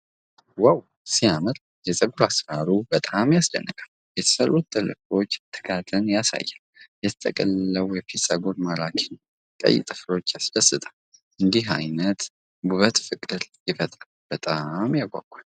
ዋው ሲያምር! የፀጉር አሠራሩ በጣም ያስደንቃል። የተሰሩት ጥልፍሎች ትጋትን ያሳያሉ። የተጠቀለለው የፊት ፀጉር ማራኪ ነው። ቀይ ጥፍሮቿ ያስደስታሉ። እንዲህ አይነት ውበት ፍቅር ይፈጥራል። በጣም ያጓጓል።